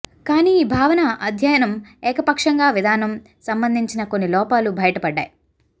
కానీ ఈ భావన అధ్యయనం ఏకపక్షంగా విధానం సంబంధించిన కొన్ని లోపాలు బయటపడ్డాయి